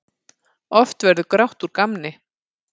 Oft verður grátt úr gamni.